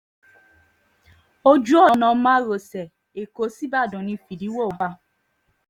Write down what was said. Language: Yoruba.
ojú ọ̀nà márosẹ̀ ẹ̀kọ́ ṣíbàdàn ní fídíwọ́ wà